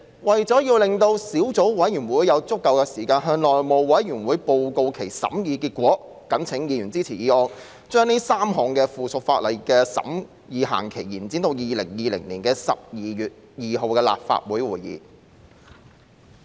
為了讓小組委員會有足夠時間向內務委員會報告其審議結果，謹請議員支持議案，將該3項附屬法例的審議期限，延展至2020年12月2日的立法會會議。